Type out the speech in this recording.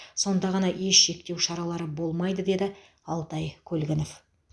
сонда ғана еш шектеу шаралары болмайды деді алтай көлгінов